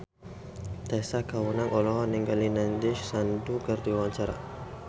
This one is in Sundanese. Tessa Kaunang olohok ningali Nandish Sandhu keur diwawancara